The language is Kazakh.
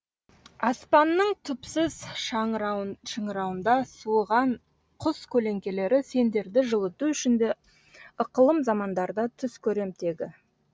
аспанның түпсіз шыңырауында суыған құс көлеңкелері сендерді жылыту үшін де ықылым замандарда түс көрем тегі